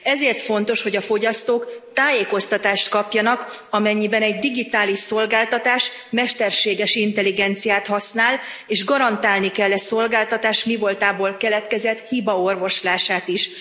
Ezért fontos, hogy a fogyasztók tájékoztatást kapjanak, amennyiben egy digitális szolgáltatás mesterséges intelligenciát használ, és garantálni kell e szolgáltatás mivoltából keletkezett hiba orvoslását is.